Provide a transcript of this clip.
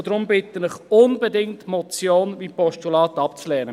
Deshalb bitte ich Sie, die Motion wie auch Postulat unbedingt abzulehnen.